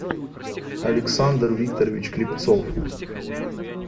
александр викторович клепцов